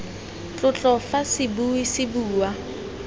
tlotlo fa sebui se bua